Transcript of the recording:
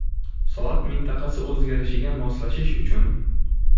Soat mintaqasi o‘zgarishiga moslashish uchun.